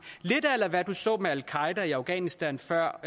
lidt a la hvad du så med al qaeda i afghanistan før